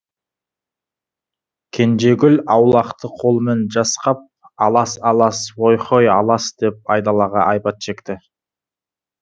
кенжегүл аулақты қолымен жасқап алас алас ой хой алас деп айдалаға айбат шекті